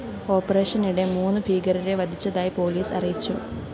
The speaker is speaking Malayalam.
ഓപ്പറേഷനിടെ മൂന്നു ഭീകരരെവധിച്ചതായി പോലീസ് അറിയിച്ചു